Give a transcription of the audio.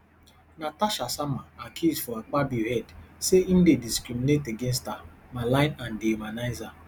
natasha sama accuse for akpabio head say im dey discriminate against her malign and dehumanize her